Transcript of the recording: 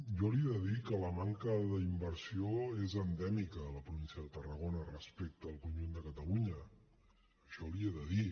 jo li he de dir que la manca d’inversió és endèmica a la província de tarragona respecte al conjunt de catalunya això l’hi he de dir